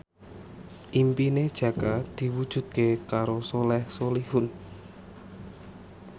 impine Jaka diwujudke karo Soleh Solihun